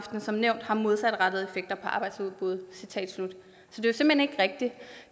som nævnt har modsatrettede effekter på arbejdsudbuddet citat slut så